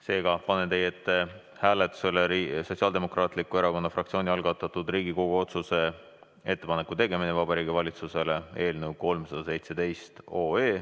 Seega panen teie ette hääletusele Sotsiaaldemokraatliku Erakonna fraktsiooni algatatud Riigikogu otsuse "Ettepaneku tegemine Vabariigi Valitsusele" eelnõu 317.